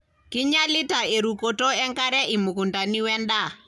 kinyialiata erukoto enkare imukundani we ndaa.